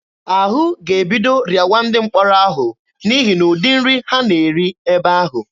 Ahụ ga-ebido rịawa ndị mkpọrọ ahụ n'ihi na ụdị nri ha na-eri ebe ahụ.